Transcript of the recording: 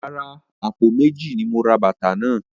Rárá, àpò méjì ni mo ra bàtà náà.